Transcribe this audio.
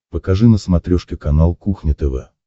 покажи на смотрешке канал кухня тв